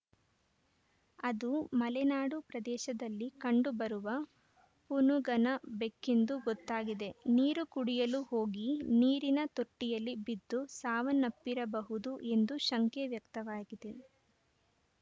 ಅದು ಮಲೆನಾಡು ಪ್ರದೇಶದಲ್ಲಿ ಕಂಡು ಬರುವ ಪುನುಗನ ಬೆಕ್ಕೆಂದು ಗೊತ್ತಾಗಿದೆ ನೀರು ಕುಡಿಯಲು ಹೋಗಿ ನೀರಿನ ತೊಟ್ಟಿಯಲ್ಲಿ ಬಿದ್ದು ಸಾವನಪ್ಪಿರಬಹುದು ಎಂದು ಶಂಕೆ ವ್ಯಕ್ತವಾಗಿದೆ